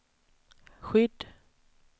skydd